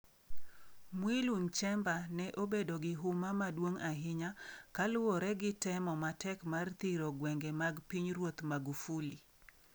Mwigulu Nchemba ne obedo gi huma maduong' ahinya kaluwore gi temo matek mar thiro gwenge mag Pinyruoth Magufuli.